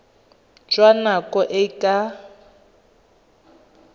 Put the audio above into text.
jwa nako e e ka